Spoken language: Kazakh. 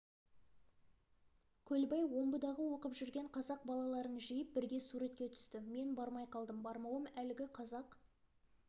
көлбай омбыдағы оқып жүрген қазақ балаларын жиып бірге суретке түсті мен бармай қалдым бармауым әлгі қазақ